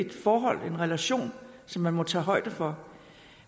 et forhold en relation som man må tage højde for